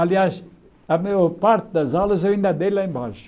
Aliás, a maior parte das aulas eu ainda dei lá embaixo.